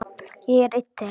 Ég er einn þeirra.